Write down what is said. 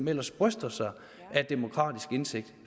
ellers bryster sig af demokratisk indsigt